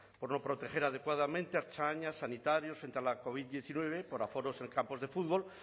por no proteger adecuadamente a ertzainas sanitarios frente a la covid diecinueve por aforos en campos de fútbol